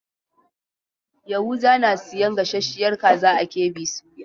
Yahuza na sayan gasasshiyar kaza a KB soya.